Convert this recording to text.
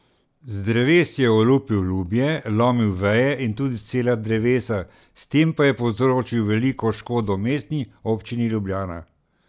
Z dreves je olupil lubje, lomil veje in tudi cela drevesa, s tem pa je povzročil veliko škodo Mestni občini Ljubljana.